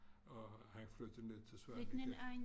Og han flyttede ned til Svaneke